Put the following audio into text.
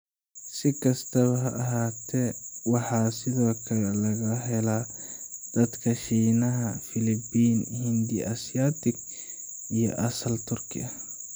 Si kastaba ha ahaatee, waxaa sidoo kale laga helaa dadka Shiinaha, Filibiin, Hindi Asiatic, iyo asal Turki ah.